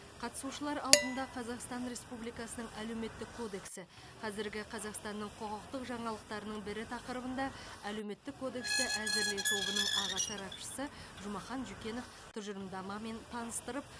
қатысушылар алдында қазақстан республикасының әлеуметтік кодексі қазіргі қазақстанның құқықтық жаңалықтарының бірі тақырыбында әлеуметтік кодексті әзірлеу тобының аға сарапшысы жұмахан жүкенов тұжырымдамамен таныстырып